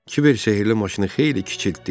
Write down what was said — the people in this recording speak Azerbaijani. Kiver sehirli maşını xeyli kiçiltdi.